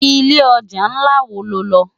Ilé òjá nlá wó ló nlò?